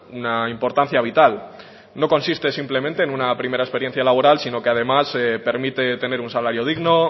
una importancia vital no consiste simplemente en una primera experiencia laboral sino que además permite tener un salario digno